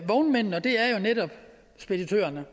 vognmændene og det er jo netop speditørerne